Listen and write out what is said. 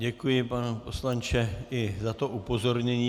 Děkuji, pane poslanče, i za to upozornění.